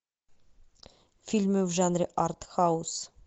фильмы в жанре артхаус